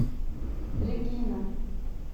регина